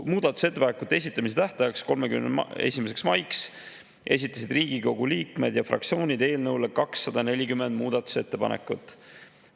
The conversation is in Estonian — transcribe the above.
Muudatusettepanekute esitamise tähtajaks, 31. maiks esitasid Riigikogu liikmed ja fraktsioonid eelnõu kohta 240 muudatusettepanekut.